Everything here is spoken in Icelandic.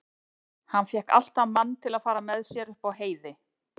Hann fékk alltaf mann til að fara með sér upp á heiði.